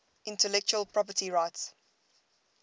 intellectual property rights